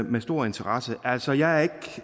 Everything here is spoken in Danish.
med stor interesse altså jeg er ikke